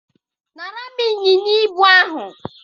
nara m ịnyịnya ibu ahụ.